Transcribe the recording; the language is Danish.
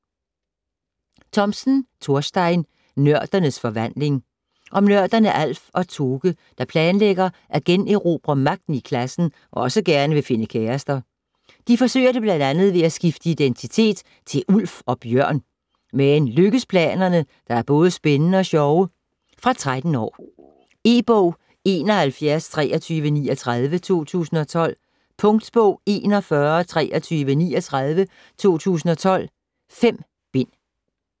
Thomsen, Thorstein: Nørdernes forvandling Om nørderne Alf og Toke, der planlægger at generobre magten i klassen og også gerne vil finde kærester. De forsøger det bl.a. ved at skifte identitet til Ulf og Bjørn, men lykkes planerne, der både er spændende og sjove? Fra 13 år. E-bog 712339 2012. Punktbog 412339 2012. 5 bind.